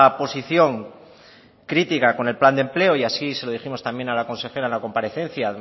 posición crítica con el plan de empleo y así se lo dijimos a la consejera en la comparecencia